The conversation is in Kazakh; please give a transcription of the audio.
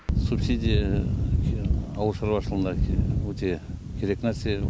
субсидия ауыл шаруашылығына өте керек нәрсе